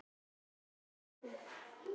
hvæsti Hugrún.